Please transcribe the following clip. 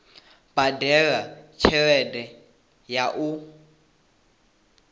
badela tshelede ya u unḓa